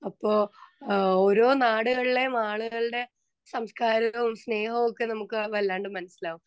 Speaker 2 അപ്പൊ ഓരോ നാടുകളിലെ ആളുകളുടെ സംസ്കാരവും സ്നേഹവും ഒക്കെ നമ്മുക്ക് വല്ലാണ്ട് മനസ്സിലാവും.